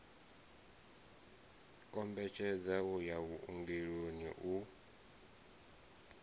kombetshedza u ya vhuongeloni u